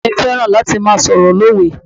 Bàbáà mi fẹ́ràn láti máa sọ̀rọ̀ lówe.